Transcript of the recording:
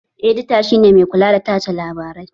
Edita shi ne mai kula da tace labarai